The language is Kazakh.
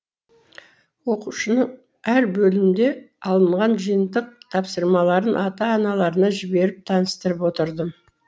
оқушының әр бөлімде алынған жиынтық тапсырмаларын ата аналарына жіберіп таныстырып отырдым